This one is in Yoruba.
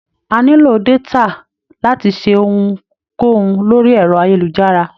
A nílò détà láti ṣe ohun kóhun lórí ẹ̀rọ-ayélujára.